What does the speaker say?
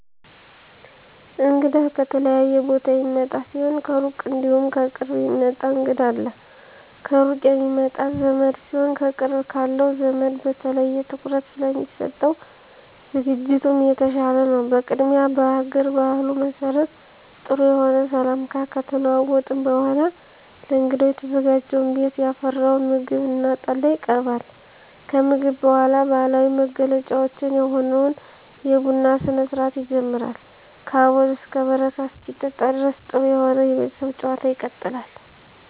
እንግዳ ከተለያየ ቦታ የሚመጣ ሲሆን ከሩቅ እንዲሁም ከቅርብ የሚመጣ እንግዳ አለ። ከሩቅ የሚመጣ ዘመድ ሲሆን ከቅርብ ካለው ዘመድ በተለየ ትኩረት ስለሚሰጠው ዝግጅቱም የተሻለ ነው። በቅድሚያ በሀገር ባህሉ መሰረት ጥሩ የሆነ ሰላምታ ከተለዋወጥን በኃላ ለእንግዳው የተዘጋጀውን ቤት ያፈራውን ምግብ እና ጠላ ይቀርባል። ከምግብ በኃላ ባህላዊ መገለጫችን የሆነውን የቡና ስነስርአት ይጀመራል ከአቦል እስከ በረካ እስኪጠጣ ድረስ ጥሩ የሆነ የቤተሰብ ጭዋታ ይቀጥላል።